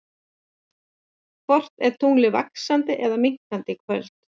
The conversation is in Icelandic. Hvort er tunglið vaxandi eða minnkandi í kvöld?